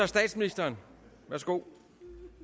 statsministeren værsgo